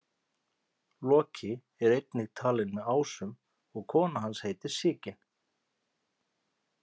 Loki er einnig talinn með ásum og kona hans heitir Sigyn.